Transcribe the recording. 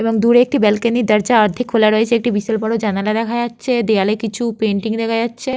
এবং দূরে একটি ব্যালকনির দরজা অর্ধেক খোলা রয়েছে । একটি বিশাল বড় জানালা দেখা যাচ্ছে দেওয়ালে কিছু পেইন্টিং দেখা যাচ্ছে।